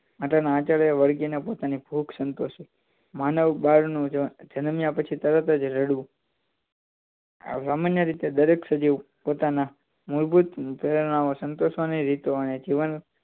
માતાના આચળે વળગીને પોતાની ભૂખ સંતોષે છે માનવ બાળ નું જન જનમ્યા તરત જ રડવું સામાન્ય રીતે દરેક સજીવ પોતાના મૂળભૂત સંતોષવા ની રીતો અને જીવન